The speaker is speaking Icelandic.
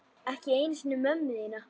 Ekki einu sinni mömmu þína.